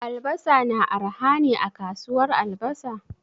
Albasa na arha ne a kasuwar albasa?